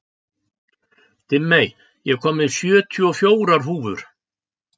Dimmey, ég kom með sjötíu og fjórar húfur!